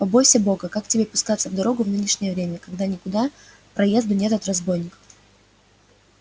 побойся бога как тебе пускаться в дорогу в нынешнее время когда никуда проезду нет от разбойников